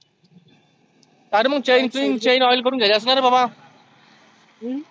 आरे मग chain chin chain oil करुण घ्यायच असतं ना रे बाबा. हम्म